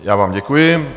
Já vám děkuji.